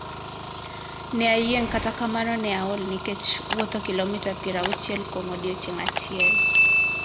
Ne ayieng kata kamano ne aol nikech wuotho kilomita pier auchiel kuom odiechieng achiel.